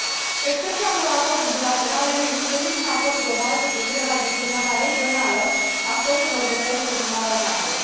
Cu excepția unor acorduri bilaterale, nu există niciun acord global cu privire la gestionarea regională a stocurilor de pește din Marea Neagră.